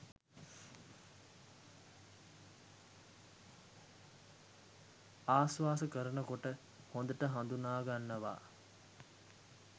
ආශ්වාස කරන කොට හොඳට හඳුනාගන්නවා